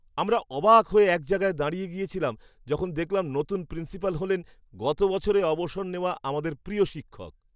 আমরা অবাক হয়ে এক জায়গায় দাঁড়িয়ে গেছিলাম যখন দেখলাম নতুন প্রিন্সিপাল হলেন গত বছরে অবসর নেওয়া আমাদের প্রিয় শিক্ষক!